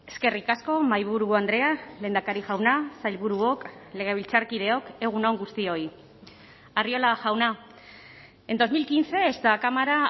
eskerrik asko mahaiburu andrea lehendakari jauna sailburuok legebiltzarkideok egun on guztioi arriola jauna en dos mil quince esta cámara